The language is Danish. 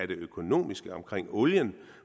det økonomiske omkring olien